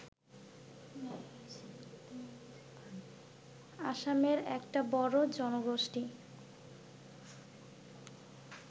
আসামের একটা বড় জনগোষ্ঠী